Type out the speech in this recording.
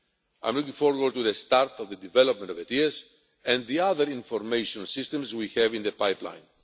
I am looking forward to the start of the development of ETIAS and the other information systems we have in the pipeline.